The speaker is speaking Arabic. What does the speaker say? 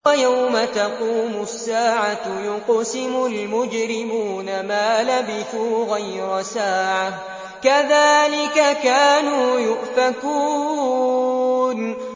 وَيَوْمَ تَقُومُ السَّاعَةُ يُقْسِمُ الْمُجْرِمُونَ مَا لَبِثُوا غَيْرَ سَاعَةٍ ۚ كَذَٰلِكَ كَانُوا يُؤْفَكُونَ